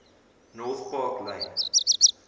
north park lane